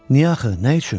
Niyə axı, nə üçün?